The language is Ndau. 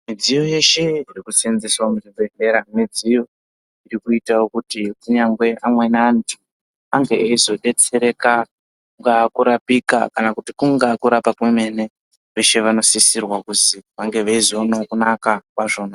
Midziyo yeshe iri ku senzeswa mu zvibhedhlera mudziyo iri kuita kuti kunyangwe amweni antu ange eizo detsereka kunga kurapika kana kuti kunga kurapa kwemene veshe vano sisirwa kuti vange veizoona kunaka kwazvona.